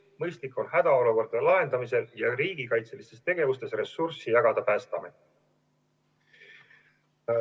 Mõistlik on hädaolukordade lahendamisel ja riigikaitselistes tegevustes ressurssi jagada Päästeametiga.